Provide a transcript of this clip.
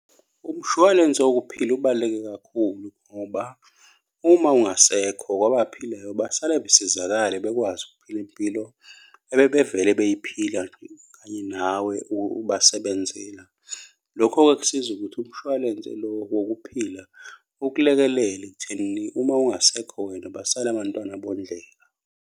Umshwalense wokuphila ubaluleke kakhulu ngoba uma ungasekho kwabaphilayo, basala besizakale bekwazi ukuphila impilo abebevela beyiphila kanye nawe ubasebenzela. Lokho-ke kusiza ukuthi umshwalense lo wokuphila ukulekelele ekuthenini uma ungasekho wena basale abantwana bondleka.